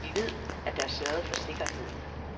Vi ved, at der er sørget for sikkerheden.